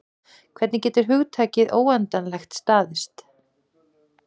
Hvernig getur hugtakið óendanlegt staðist?